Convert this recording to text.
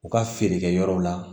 U ka feerekɛyɔrɔw la